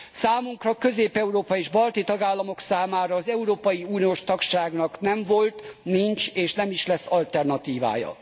Számunkra, közép európai és balti tagállamok számára az európai uniós tagságnak nem volt, nincs, és nem is lesz alternatívája.